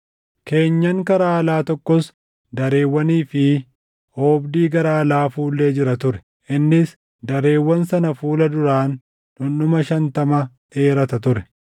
Keenyan karaa alaa tokkos dareewwanii fi oobdii gara alaa fuullee jira ture; innis dareewwan sana fuula duraan dhundhuma shantamaa dheerata ture.